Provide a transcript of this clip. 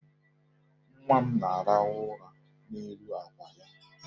Nwa m na-arahụ ụra n'elu àkwà ya.